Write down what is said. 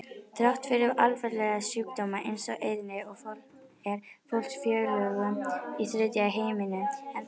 Þrátt fyrir alvarlega sjúkdóma eins og eyðni er fólksfjölgun í þriðja heiminum ennþá mjög mikil.